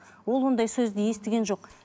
ол ондай сөзді естіген жоқ